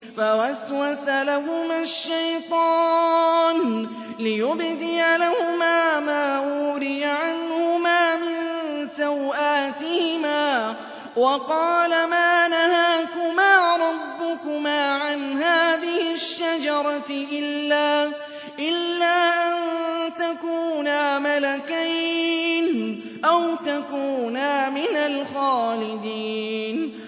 فَوَسْوَسَ لَهُمَا الشَّيْطَانُ لِيُبْدِيَ لَهُمَا مَا وُورِيَ عَنْهُمَا مِن سَوْآتِهِمَا وَقَالَ مَا نَهَاكُمَا رَبُّكُمَا عَنْ هَٰذِهِ الشَّجَرَةِ إِلَّا أَن تَكُونَا مَلَكَيْنِ أَوْ تَكُونَا مِنَ الْخَالِدِينَ